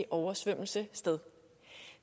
oversvømmelse sted